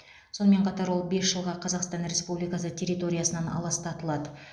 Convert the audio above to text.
сонымен қатар ол бес жылға қазақстан республикасы территориясынан аластатылады